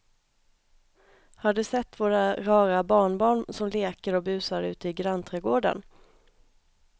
Har du sett våra rara barnbarn som leker och busar ute i grannträdgården!